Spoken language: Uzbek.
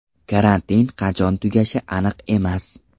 Karantin qachon tugashi aniq emas.